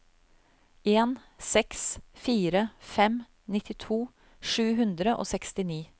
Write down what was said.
en seks fire fem nittito sju hundre og sekstini